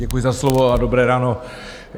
Děkuji za slovo a dobré ráno.